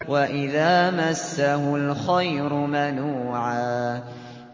وَإِذَا مَسَّهُ الْخَيْرُ مَنُوعًا